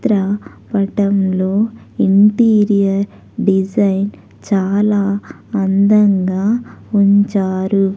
--త్ర పటంలో interior design చాలా అందంగా ఉంచారు.